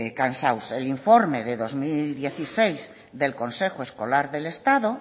cansados el informe del dos mil dieciséis del consejo escolar del estado